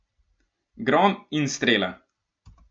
Grom in strela!